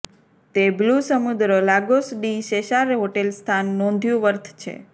તે બ્લુ સમુદ્ર Lagos de Cesar hotel સ્થાન નોંધ્યું વર્થ છે